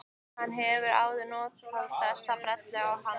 Hann hefur áður notað þessa brellu á hana.